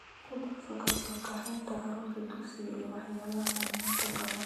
ku darso ka soo kaxaynta carruurta dugsiga iyo waxyaalaha aan maanta qabanayo